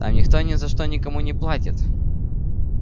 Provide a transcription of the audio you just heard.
там никто ни за что никому не платит